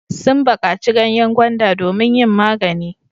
Sun baƙaci ganyen gwanda domin yin magani.